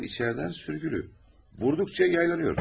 Qapı içəridən sürgülü, vurduqca yaylanır.